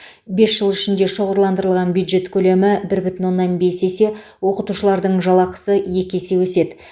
бес жыл ішінде шоғырландырылған бюджет көлемі бір бүтін оннан бес есе оқытушылардың жалақысы екі есе өседі